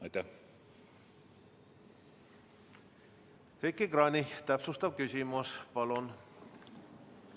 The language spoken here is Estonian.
Heiki Kranich, täpsustav küsimus, palun!